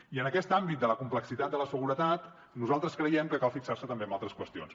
i en aquest àmbit de la complexitat de la seguretat nosaltres creiem que cal fixar se també en altres qüestions